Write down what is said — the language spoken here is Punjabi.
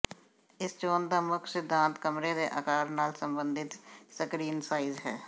ਇਸ ਚੋਣ ਦਾ ਮੁੱਖ ਸਿਧਾਂਤ ਕਮਰੇ ਦੇ ਆਕਾਰ ਨਾਲ ਸੰਬੰਧਿਤ ਸਕਰੀਨ ਸਾਈਜ਼ ਹੈ